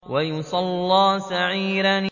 وَيَصْلَىٰ سَعِيرًا